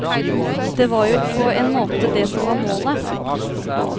Og det var jo på en måte det som var målet.